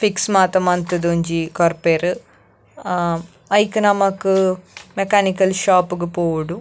Fix ಮಾತ ಮಲ್ತುದು ಒಂಜಿ ಕೊರ್ಪೆರ್ ಅಹ್ ಐಕ್ ನಮಕ್ ಮೆಕಾನಿಕಲ್ ಶೋಪ್ ಗ್ ಪೋವೊಡು.